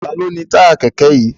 Ta ló ni táyà kẹ̀kẹ́ yìí?